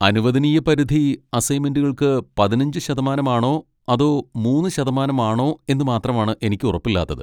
അനുവദനീയപരിധി അസൈന്മെന്റുകൾക്ക് പതിനഞ്ച് ശതമാനം ആണോ അതൊ മൂന്നു ശതമാനം ആണോ എന്നുമാത്രമാണ് എനിക്ക് ഉറപ്പില്ലാത്തത്.